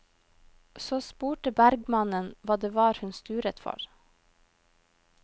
Så spurte bergmannen hva det var hun sturet for.